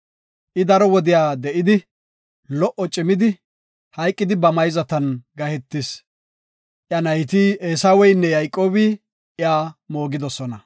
I daro wodiya de7idi lo77o cimidi, hayqidi ba mayzatan gahetis. Iya nayti Eesaweynne Yayqoobi iya moogidosona.